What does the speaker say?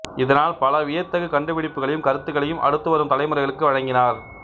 இதனால் பல வியத்தகு கண்டுபிடிப்புகளையும் கருத்துக்களையும் அடுத்துவரும் தலைமுறைகளுக்கு வழங்கினார்